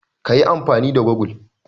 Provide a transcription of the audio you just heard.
Ka yi amfani da gogul.